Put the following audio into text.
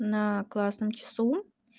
на классном часу